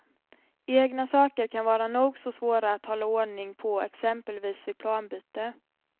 Egna saker kan vara nog så svåra att hålla ordning på exempelvis vid planbyte.